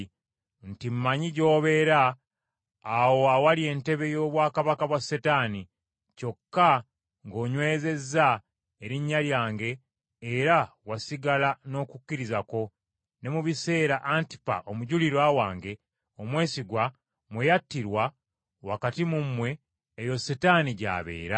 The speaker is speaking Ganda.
nti, Mmanyi gy’obeera awo awali entebe y’obwakabaka bwa Setaani, kyokka ng’onywezezza erinnya lyange era wasigala n’okukkiriza kwo, ne mu biseera Antipa omujulirwa wange omwesigwa mwe yattirwa wakati mu mmwe, eyo Setaani gy’abeera.